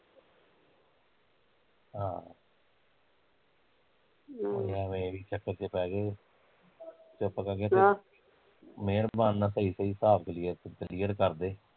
ਹਾ ਐਵੈ ਇਸ ਚੱਕਰ ਚ ਪੈਗਏ, ਐ ਨੀ ਵੀ ਚੱਲ ਚੁੱਪ ਕਰਕੇ ਮਿਹਰਬਾਨ ਨਾਲ਼ ਸਹੀ ਸਹੀ ਹਿਸਾਬ clear ਕਰਦੇ